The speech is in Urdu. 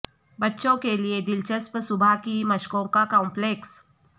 بچوں کے لئے دلچسپ صبح کی مشقوں کا کمپلیکس